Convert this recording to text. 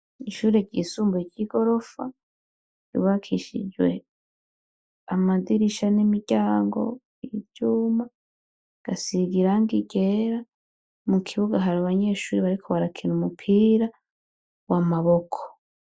Ishure ryisumbuye ry'igorofa, ryubakishijwe amadirisha n'imiryango y'ivyuma, rigasiga irangi ryera. Mu kibuga hari abanyeshure bariko barakina umupira w'amaboko